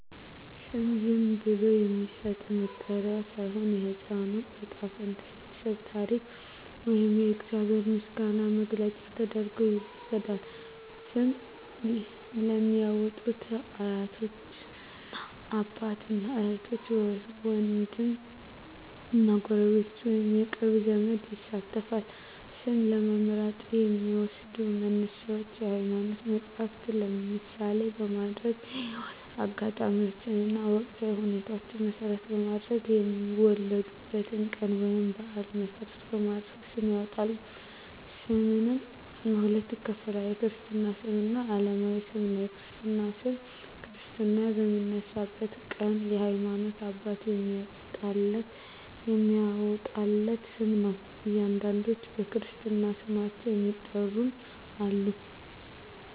ስም ዝም ብሎ የሚሰጥ መጠሪያ ሳይሆን፣ የሕፃኑ ዕጣ ፈንታ፣ የቤተሰቡ ታሪክ ወይም የእግዚአብሔር ምስጋና መግለጫ ተደርጎ ይወሰዳል። ስም ለሚያዎጡት አያቶች፣ እናት አባት፣ እህት ዎንድም እና ጎረቤት ወይንም የቅርብ ዘመድ ይሳተፋል። ስም ለመምረጥ የሚዎሰዱ መነሻዎች የሀይማኖት መፀሀፍትን ምሳሌ በማድረግ፣ የህይወት አጋጣሚዎችን እና ወቅታዊ ሁኔታዎችን መሰረት በማድረግ፣ የወለዱበትን ቀን ወይንም በአል መሰረት በማድረግ ስም ያወጣሉ። ስምንም በሁለት ይከፈላል። የክርስትና ስም እና አለማዊ ስም ነው። የክርስትና ስም ክርስትና በሚነሳበት ቀን የሀይማኖት አባት የሚያዎጣለት ስም ነው። አንዳንዶች በክርስትና ስማቸው የሚጠሩም አሉ።